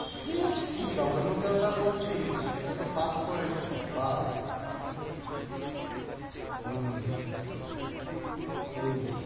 ইস! কি জঘন্য কথা বলসিস! এটা তো পাপ করেছিস, পাপ। হম হম